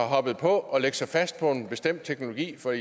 hoppet på at lægge sig fast på en bestemt teknologi for